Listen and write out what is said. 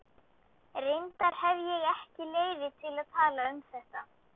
Reyndar hefi ég ekki leyfi til að tala um þetta.